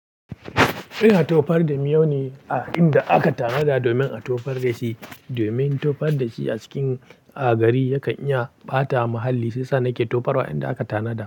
Ina tofar da miyo ne a inda aka tanada domin a tofar da shi, domin tofar da shi a cikin a gari yakan iya ɓata mahalli. Shi yasa nake tofarwa inda aka tanada.